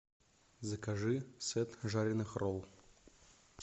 закажи сет жареных ролл